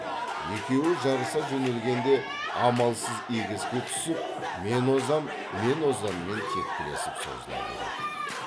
екеуі жарыса жөнелгенде амалсыз егеске түсіп мен озам мен озаммен тепкілесіп созыла береді